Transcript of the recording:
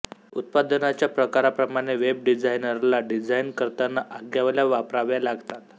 उत्पादनाच्या प्रकाराप्रमाणे वेब डिझायनरला डीझाईन करताना आज्ञावल्या वापराव्या लागतात